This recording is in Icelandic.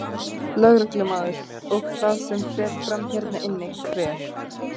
Lögreglumaður: Og það sem fer fram hérna inni, hver?